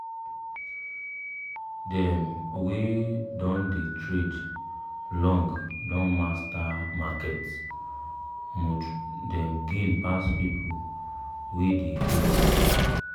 dem wey don dey trade long don master market mood dem gain pass people wey dey guess.